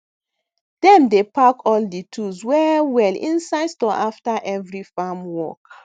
dem dey pack all di tools well well inside store after every farm work